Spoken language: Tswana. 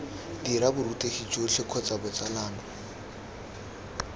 dira borutegi jotlhe kgotsa botsalano